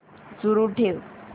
सुरू ठेव